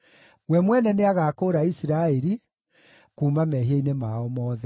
We mwene nĩagakũũra Isiraeli kuuma mehia-inĩ mao mothe.